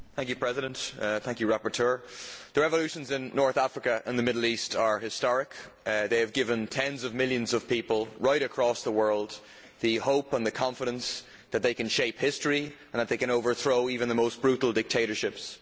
Mr President, rapporteur, the revolutions in North Africa and the Middle East are historic they have given tens of millions of people right across the world the hope and confidence that they can shape history and that they can overthrow even the most brutal dictatorships.